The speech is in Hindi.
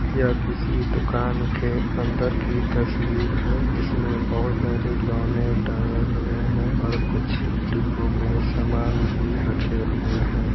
यह किसी दुकान के अंदर की तस्वीर है जिसमें बहुत सारे खिलौने टंगे हुए हैं और कुछ डिब्बों में सामान भी रखे हुए हैं।